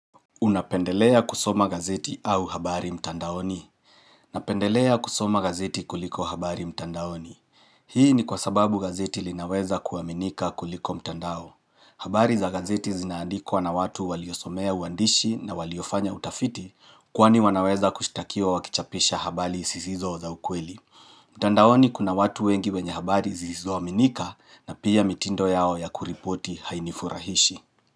Unapendelea kusoma gazeti au habari mtandaoni. Napendelea kusoma gazeti kuliko habari mtandaoni. Hii ni kwasababu gazeti linaweza kuaminika kuliko mtandao. Habari za gazeti zinaandikwa na watu waliosomea uandishi na waliofanya utafiti kwani wanaweza kushtakia wakichapisha habali sisizo za ukweli. Mtandaoni kuna watu wengi wenye habari zisizo aminika na pia mitindo yao ya kuripoti hainifurahishi.